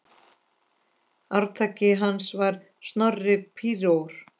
Arftaki hans var Snorri príor.